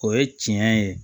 O ye tiɲɛ ye